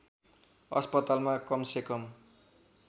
अस्पतालमा कमसेकम